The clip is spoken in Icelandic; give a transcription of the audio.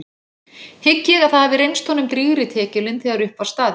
Hygg ég að það hafi reynst honum drýgri tekjulind þegar upp var staðið.